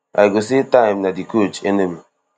i go say time na di coach enemy